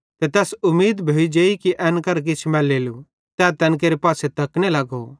ते तैस उमीद भोइजेइ कि एन करां किछ मैलेलू तै तैन केरे पासे तकने लगो